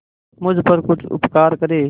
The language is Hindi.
मुझ पर कुछ उपकार करें